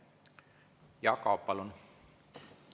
Jaak Aab, palun!